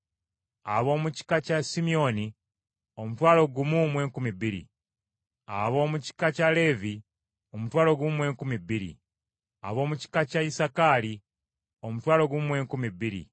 ab’omu kika kya Simyoni omutwalo gumu mu enkumi bbiri (12,000), ab’omu kika kya Leevi omutwalo gumu mu enkumi bbiri (12,000), ab’omu kika kya Isakaali omutwalo gumu mu enkumi bbiri (12,000),